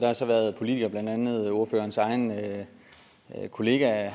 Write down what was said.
har så været politikere blandt andet ordførerens egen kollega